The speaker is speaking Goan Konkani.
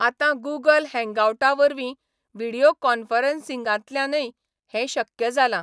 आतां गूगल हँगावटावरवीं व्हिडियो कॉन्फरन्सिंगांतल्यानय हें शक्य जालां.